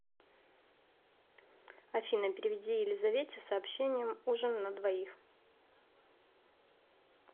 афина переведи елизавете с сообщением ужин на двоих